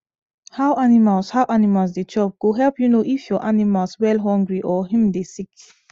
how animals how animals they chop go help u know if ur animals wellhungry or him the sick